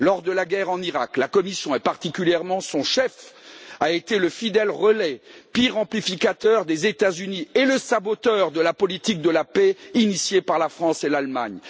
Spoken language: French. Lors de la guerre en Iraq, la Commission, et particulièrement son chef, a été le fidèle relais, pire amplificateur des États Unis, et le saboteur de la politique de paix initiée par la France et l'Allemagne.